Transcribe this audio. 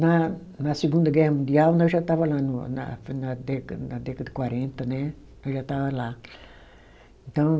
Na, na Segunda Guerra Mundial nós já estava lá no, na na deca na década de quarenta, né, eu já estava lá. Então